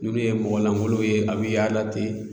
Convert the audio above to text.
N'olu ye mɔgɔ lamɔli a bɛ yaala ten